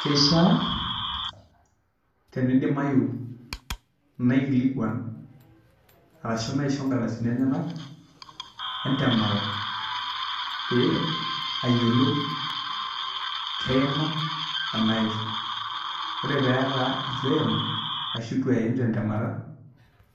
Keishaa tenidimayu naikilikuan ashuu naisho ingaldasini enyanak entemata paa ayiolou keima anaa eitu. Ore pee etaa eitu eimu ashu eitu eiim tentemata